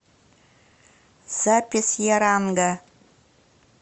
запись яранга